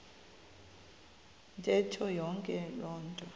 ntetho yonke loo